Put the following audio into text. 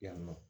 Yan nɔ